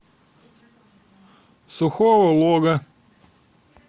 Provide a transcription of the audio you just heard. сухого лога